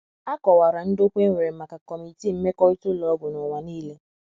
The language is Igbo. A kọwara ndokwa e nwere maka Kọmitii Mmekọrịta Ụlọ Ọgwụ n’ụwa nile.